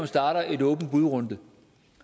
starter en åben bud runde